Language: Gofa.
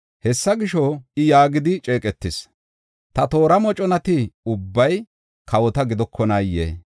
Hessa gisho, I yaagidi ceeqetees; ‘Ta toora moconati ubbay kawota gidokonaayee?’